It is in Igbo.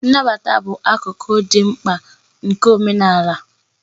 Nnabata bụ akụkụ dị mkpa nke omenala omenala.